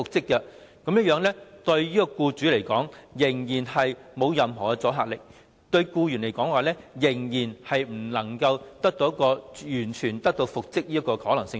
所以，《條例草案》對僱主來說，仍然沒有任何阻嚇力，對僱員來說，仍然欠缺完全復職的可能性。